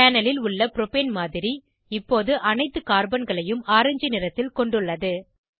panel ல் உள்ள propane மாதிரி இப்போது அனைத்து கார்பன்களையும் ஆரஞ்ச் நிறத்தில் கொண்டுள்ளது